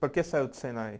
Por que saiu do Senai?